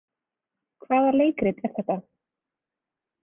Hvaða leikrit er þetta?